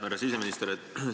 Härra siseminister!